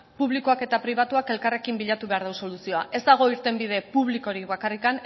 publikoak eta pribatuak elkarrekin bilatu behar du soluzioa ez dago irtenbide publikorik bakarrik